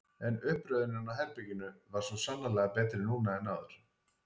En uppröðunin á herberginu var svo sannarlega betri núna en áður.